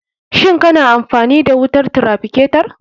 Shin kana amfani da wutar traficatar?